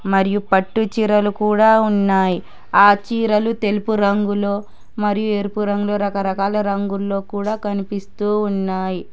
మరియు పట్టుచీరలు కూడ ఉన్నాయి ఆ చీరలు తెలుపు రంగులో మరియు ఎరుపు రంగులో రకరకాల రంగుల్లో కూడ కనిపిస్తూ ఉన్నాయ్.